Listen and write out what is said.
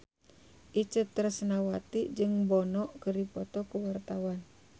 Itje Tresnawati jeung Bono keur dipoto ku wartawan